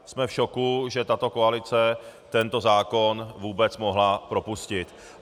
Jsme v šoku, že tato koalice tento zákon vůbec mohla propustit.